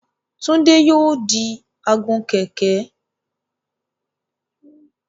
Túndé yóò di agun-kẹ̀ẹ̀kẹ́.